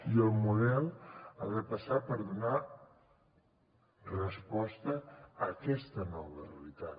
i el model ha de passar per donar resposta a aquesta nova realitat